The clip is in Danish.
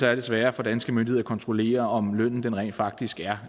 er sværere for danske myndigheder at kontrollere om lønnen rent faktisk er